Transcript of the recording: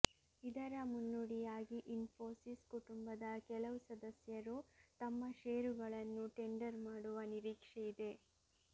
ಇದರ ಮುನ್ನುಡಿಯಾಗಿ ಇನ್ಫೋಸಿಸ್ ಕುಟುಂಬದ ಕೆಲವು ಸದಸ್ಯರು ತಮ್ಮ ಷೇರುಗಳನ್ನು ಟೆಂಡರ್ ಮಾಡುವ ನಿರೀಕ್ಷೆಯಿದೆ